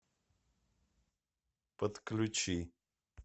подключи